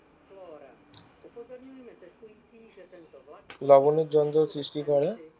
লবণের জঞ্জাল সৃষ্টি করে